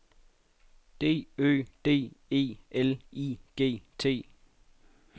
D Ø D E L I G T